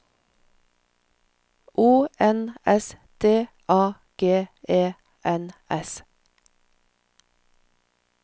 O N S D A G E N S